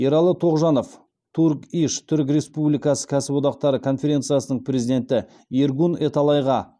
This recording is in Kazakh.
ералы тоғжанов турк иш түрік республикасы кәсіподақтары конференциясының президенті эргюн эталайға